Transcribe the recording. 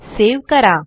save करा